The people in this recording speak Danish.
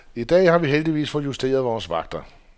I dag har vi heldigvis fået justeret vores vagter.